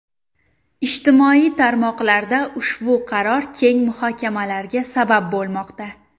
Ijtimoiy tarmoqlarda ushbu qaror keng muhokamalarga sabab bo‘lmoqda.